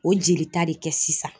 O jelita de kɛ sisan